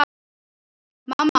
Mamma hennar er komin heim.